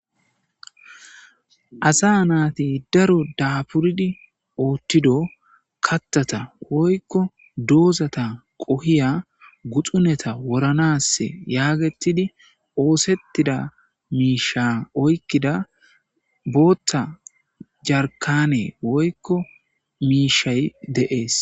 Asa naati daro daapuridi oothido kathata woyko doozata qohiya guxuneta woranaas yaagettidi oosettida miishsha oykkida bootha jarkaane woykko miishshay de7ees.